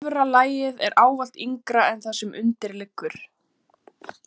Efra lagið er ávallt yngra en það sem undir liggur.